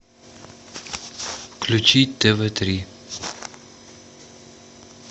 включить тв три